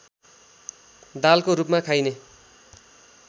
दालको रूपमा खाइने